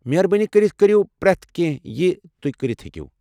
مہربٲنی کٔرِتھ کٔریو پریتھ كینہہ یہِ توہہِ كرِتھ ہیكِیو٘ ۔